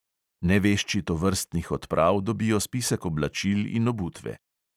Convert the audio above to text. Nevešči tovrstnih odprav dobijo spisek oblačil in obutve.